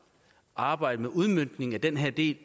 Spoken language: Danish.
arbejdet med udmøntningen af den her del